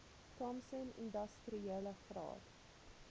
thompson industriele graad